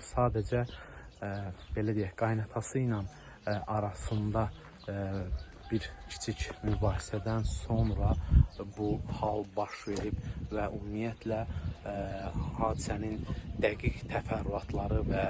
Sadəcə belə deyək, qaynanası ilə arasında bir kiçik mübahisədən sonra bu hal baş verib və ümumiyyətlə hadisənin dəqiq təfərrüatları və